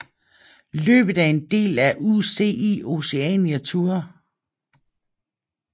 Løbet er en del af UCI Oceania Tour